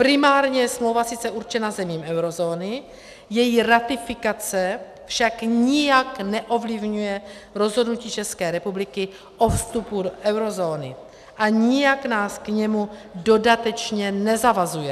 Primárně je smlouva sice určena zemím eurozóny, její ratifikace však nijak neovlivňuje rozhodnutí České republiky o vstupu do eurozóny a nijak nás k němu dodatečně nezavazuje.